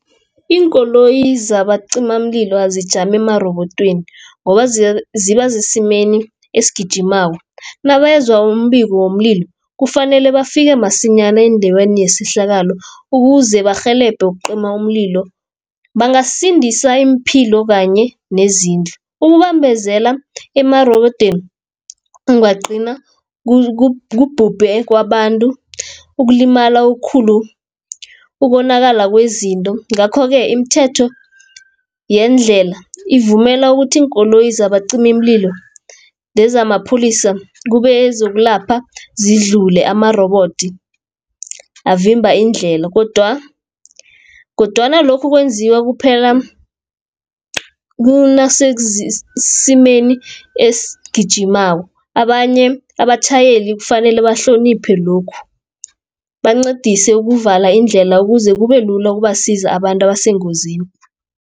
Iinkoloyi zabacimamlilo azijami emarobodweni, ngoba ziba sesimeni esigijimako, nabezwa umbiko womlilo kufanele bafike masinyana endaweni yesehlakalo, ukuze barhelebhe ukucima umlilo. Bangasindisa iimpilo kanye nezindlu, ukubambezela emarobodweni kungagcina kubhubhe kwabantu ukulimala ukhulu, ukonakala kwezinto. Ngakho-ke imithetho yendlela, ivumela ukuthi iinkoloyi zabacimimlilo nezamapholisa kubezokulapha zidlule amarobodi avimba indlela, kodwana lokhu kwenziwa kuphela esimeni esigijimako abanye abatjhayeli kufanele bahloniphe lokhu bancedise ukuvala indlela ukuze kube lula ukubasiza abantu abasengozini.